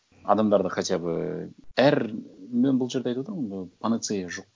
адамдарда хотя бы әр мен бұл жерде айтып отырмын ғой панацея жоқ